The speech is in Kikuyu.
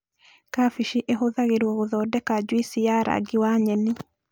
Kambĩji ĩhũthagĩrwo gũthondeka juici ya rangi wa nyeni